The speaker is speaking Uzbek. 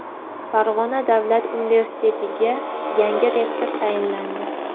Farg‘ona davlat universitetiga yangi rektor tayinlandi.